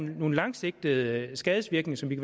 nogle langsigtede skadesvirkninger som vi